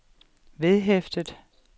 vedhæftet